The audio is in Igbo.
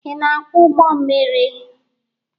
Ị na-akwọ ụgbọ mmiri?